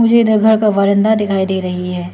इधर घर का वरांडा दिखाई दे रहा है।